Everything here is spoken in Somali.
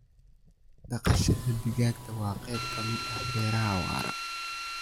Dhaqashada digaaga waa qayb ka mid ah beeraha waara.